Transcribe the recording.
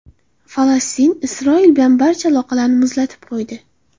Falastin Isroil bilan barcha aloqalarini muzlatib qo‘ydi.